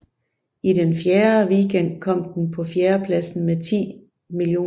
I den fjerde weekend kom den på fjerdepladsen med 10 mio